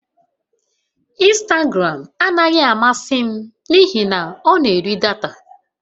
Ịnstagram anaghị amasị m n'ihi na ọ na-eri data